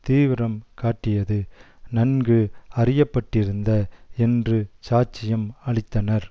தீவிரம் காட்டியது நன்கு அறிய பட்டிருந்த என்று சாட்சியம் அளித்தனர்